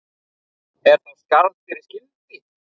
Er þá skarð fyrir skildi.